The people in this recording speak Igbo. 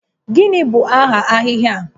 Gịnị bụ aha ahịhịa a?